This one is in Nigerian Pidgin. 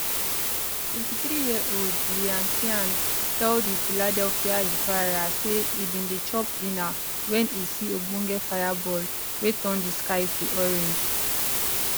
23yearold ryan tian tell the philadelphia inquirer say e bin dey chop dinner wen e see ogbonge fireball wey turn di sky to orange